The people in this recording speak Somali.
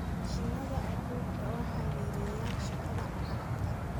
Mashiinnada abuurku waxay yareeyaan shaqada gacanta.